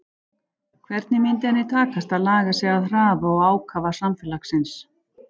Hvernig myndi henni takast að laga sig að hraða og ákafa samfélagsins?